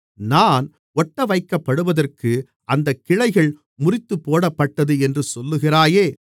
நான் ஒட்டவைக்கப்படுவதற்கு அந்தக் கிளைகள் முறித்துப் போடப்பட்டது என்று சொல்லுகிறாயே